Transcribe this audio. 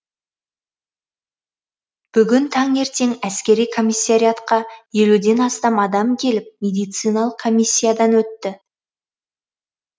бүгін таңертең әскери комиссариатқа елуден астам адам келіп медициналық коммиясиядан өтті